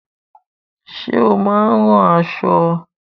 Ṣé ó máa ń ran aṣọ?